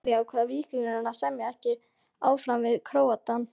Af hverju ákvað Víkingur að semja ekki áfram við Króatann?